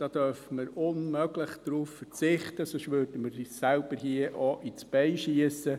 Darauf dürfen wir unmöglich verzichten, sonst würden wir uns selbst auch ins Bein schiessen.